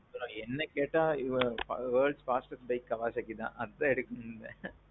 ஆ. என்ன கேட்டா, world’s fastest bike Kawasaki தான். அதான் எடுக்காணும் நீங்க.